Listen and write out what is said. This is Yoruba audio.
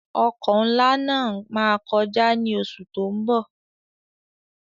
Ọkọ̀ nlá má kọjá ní oṣù tó ń bọ̀